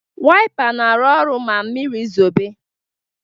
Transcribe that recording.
Wipa na arụ ọrụ ma mmiri zobe